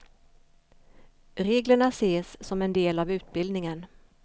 Reglerna ses som en del av utbildningen.